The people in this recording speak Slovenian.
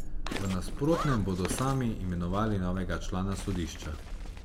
V nasprotnem bodo sami imenovali novega člana sodišča.